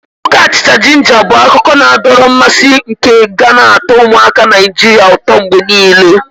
Nwoke achicha-jinja bu akụkọ na-adọrọ mmasị nke ga na atọ ụmụaka Naijiria ụtọ mgbe niile.